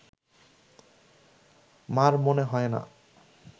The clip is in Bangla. মা’র মনে হয় না